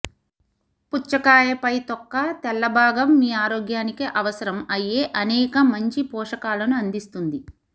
పుచ్చకాయ పై తొక్క తెల్ల భాగం మీ ఆరోగ్యానికి అవసరం అయ్యే అనేక మంచి పోషకాలను అందిస్తుంది